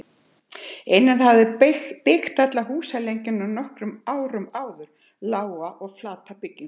Einar hafði byggt alla húsalengjuna nokkrum árum áður, lága og flata byggingu.